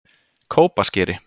Kópaskeri